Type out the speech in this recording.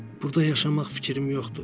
Burda yaşamaq fikrim yoxdur.